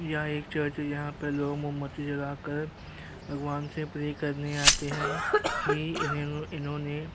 यह एक चर्च है। यहाँ पर लोग मोमबत्ती जलाकर भगवान से प्रे करने आते हैं कि इन्हे इन्होंने --